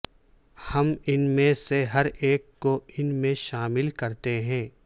ہم ان میں سے ہر ایک کو ان میں شامل کرتے ہیں